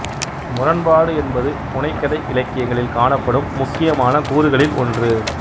முரண்பாடு என்பது புனைகதை இலக்கியங்களில் காணப்படும் முக்கியமான கூறுகளில் ஒன்று